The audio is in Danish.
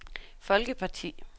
folkeparti